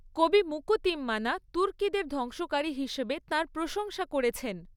কবি মুকু তিম্মানা তুর্কিদের ধ্বংসকারী হিসেবে তাঁর প্রশংসা করেছেন।